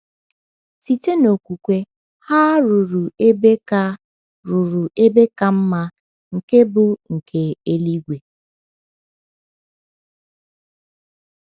Site n’okwukwe, ha “ruru ebe ka “ruru ebe ka mma, nke bụ nke eluigwe.”